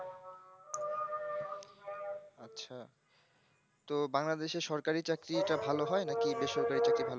আচ্ছা তো বাংলাদেশে এ সরকারি চাকরিটা ভাল হয় নাকি বেসরকারি চাকরি ভাল হয়